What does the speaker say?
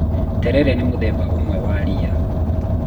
terere nĩ mũthemba ũmwe wa rĩya